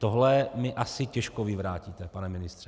Tohle mi asi těžko vyvrátíte, pane ministře.